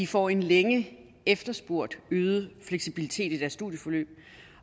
får en længe efterspurgt øget fleksibilitet i deres studieforløb